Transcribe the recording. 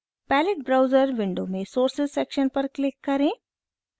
palette browser window में sources section पर click करें